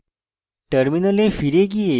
terminal ফিরে গিয়ে